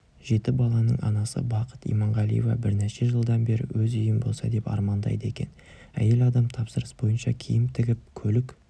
жеті баланың анасы бақыт иманғалиева бірнеше жылдан бері өз үйім болса деп армандайды екен әйел адам тапсырыс бойынша киім тігіп көлік